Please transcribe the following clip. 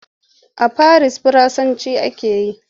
A farisa Faransanci ake yi.